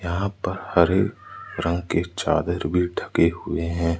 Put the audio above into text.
यहां पर हरे रंग के चादर भी ढके हुए हैं।